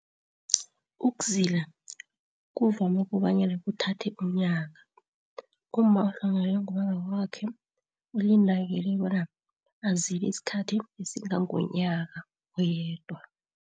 Ukuzila kuvame kobanyana kuthathe umnyaka. Umma ohlongakalelwe ngubaba wakwakhe, ulindeleke bona azile isikhathi esingangomnyaka oyedwa.